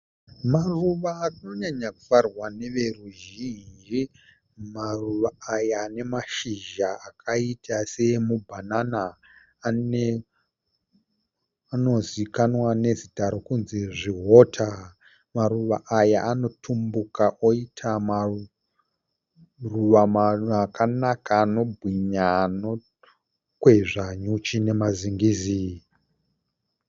Maruva anonyanya kufarirwa neveruzhinji. Maruva aya ane mashizha akaita se emubanana ane anonozikanwa nezita rekunzi zvihota . Maruva aya anotumbuka oita maruva akanaka anobhwinya anokwezva nyuchi nema zingizi.